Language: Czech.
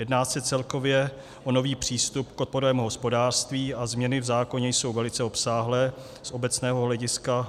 Jedná se celkově o nový přístup k odpadovému hospodářství a změny v zákoně jsou velice obsáhlé z obecného hlediska.